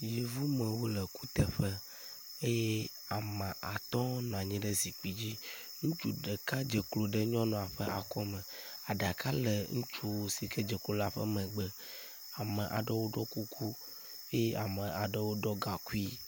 Yevu mawo le kuteƒe eye ame atɔ̃wo nɔ anyi ɖe zikpui dzi. Ŋutsu ɖeka dze klo ɖe nyɔnua ƒe akɔ me. Aɖaka le ŋutsu si ke dze klo ƒe megbe. Ame aɖewo ɖɔ kuku eye ame aɖewo ɖɔ gaŋkui.